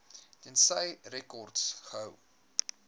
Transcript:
tensy rekords gehou